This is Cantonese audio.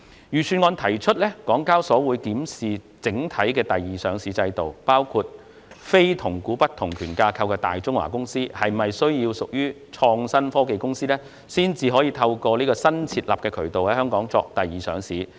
預算案提出港交所會檢視整體第二上市制度，包括非同股不同權架構的大中華公司是否需要屬創新科技公司，才能透過新設立的渠道在香港作第二上市。